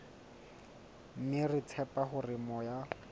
mme re tshepa hore moya